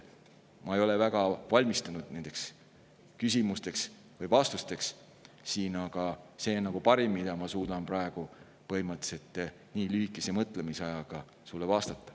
Ma ei ole väga valmistunud nendele küsimustele vastamiseks, nii et see on parim, mida ma suudan praegu nii lühikese mõtlemisajaga sulle vastata.